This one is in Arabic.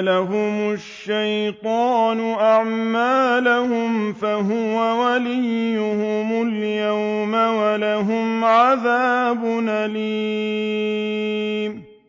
لَهُمُ الشَّيْطَانُ أَعْمَالَهُمْ فَهُوَ وَلِيُّهُمُ الْيَوْمَ وَلَهُمْ عَذَابٌ أَلِيمٌ